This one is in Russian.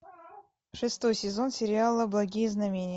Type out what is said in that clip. шестой сезон сериала благие знамения